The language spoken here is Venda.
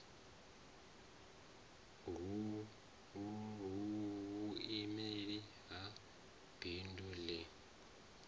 hu vhuimeli ha bindu ḽi